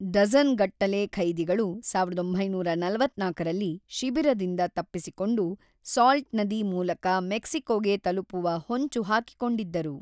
Dozen ಗಟ್ಟಲೆ ಖೈದಿಗಳು ಸಾವಿರದ ಒಂಬೈನೂರ ನಲವತ್ತ್ನಾಲ್ಕರಲ್ಲಿ ಶಿಬಿರದಿಂದ ತಪ್ಪಿಸಿಕೊಂಡು ಸಾಲ್ಟ್ ನದಿ ಮೂಲಕ ಮೆಕ್ಸಿಕೊಗೆ ತಲುಪುವ ಹೊಂಚು ಹಾಕಿಕೊಂಡಿದ್ದರು.